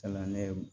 Kalan ne